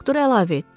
Doktor əlavə etdi.